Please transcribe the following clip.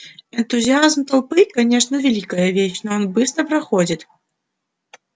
энтузиазм толпы конечно великая вещь но он быстро проходит